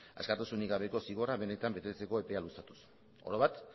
askatasunik gabeko zigorra benetan betetzeko epea luzatuz orobat